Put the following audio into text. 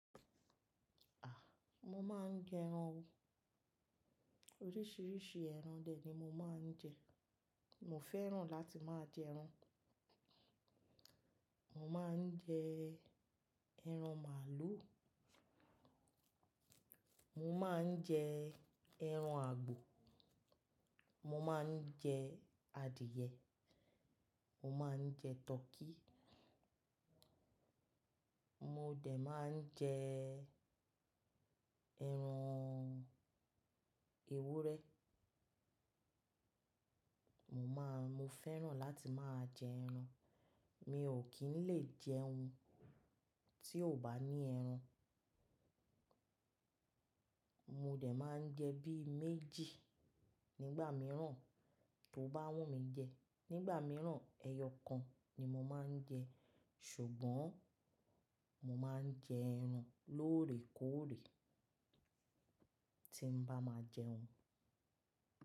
A! Mo máa ń jẹ ẹran o. Oríṣiríṣi ẹran dè ni mo máa ń jẹ. Mo fẹ́ràn láti máa jẹ ẹran. Mo máa ń jẹ ẹran màálù, mo máa ń jẹ ẹran àgbò, mo máa ń jẹ adìẹ, mo máa ń jẹ tọkí, mo dè máa ń jẹ ẹran ewúrẹ́. Mo máa, mo fẹ́ràn láti máa jẹ ẹran. Mi ò kí ń lè jẹ oún, tí ò bá ní ẹran. Mo dè máa ń jẹ bí méjì nígbà mìíràn, tó bá wùnmí jẹ. Nígbà mìíràn ẹyọ kan ni mo máa ń jẹ ṣùgbọ́n mo máa ń jẹ ẹran lóòrèkóòrè tí n bá máa jẹ oún.